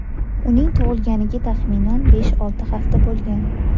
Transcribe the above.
Uning tug‘ilganiga taxminan besh-olti hafta bo‘lgan.